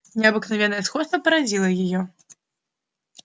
необыкновенное сходство поразило его